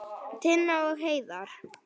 Tinna og Heiðar.